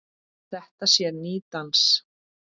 Þetta sé nýr dans.